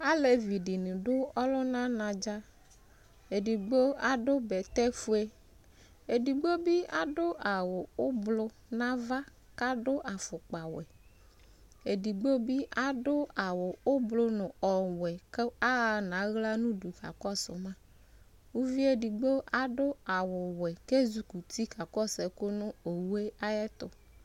ɑléviɗiniɗu ɔlωɲɑɲăɖzɑ ɛɖɠɓõ ɑɖω ɓɛṭéfωɛ ɛɖigbõbi ɑɖω ɑwω ωblω ɑvɑ ƙɑɖω ɑfωkpɑwé ɛɖigbọbi ɑɖω ɑwω ωblω ɲu ɔwɛ kω ɑhɑɲɑhlɑ ɲωɖω kɑkɔsωmă ωviɛɖigbo ɛzωkωti kɑkɔṣωku ɲω õwω ɑyɛtω